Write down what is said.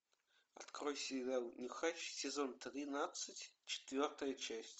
открой сериал нюхач сезон тринадцать четвертая часть